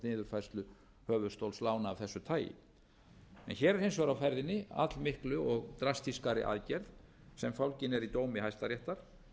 niðurfærslu höfuðstóls lána af þessu tagi en hér er hins vegar á ferðinni all miklu og drastískari aðgerð sem fólgin er í dómi hæstaréttar